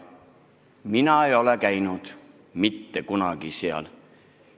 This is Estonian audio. Mina ei ole käinud mitte kunagi seal.